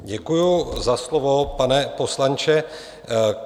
Děkuji za slovo, pane poslanče.